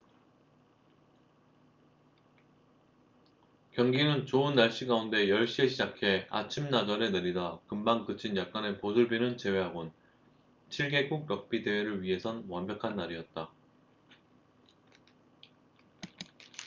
경기는 좋은 날씨 가운데 10시에 시작해 아침나절에 내리다 금방 그친 약간의 보슬비를 제외하곤 7개국 럭비 대회를 위해선 완벽한 날이었다